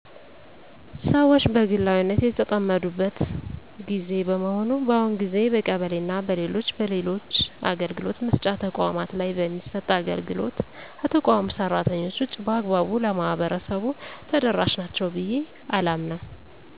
ሰወች በግላዊነት የተጠመዱበት ግዜ በመሆኑ በአሁኑ ግዜ በቀበሌና በሌሎች በሌሎች አገልግሎት መስጫ ተቋማት ላይ የሚሰጥ አገልግሎት ከተቋሙ ሰራተኞች ውጭ በአግባቡ ለማህበረሰቡ ተደረሻ ናቸው ብየ አላምንም።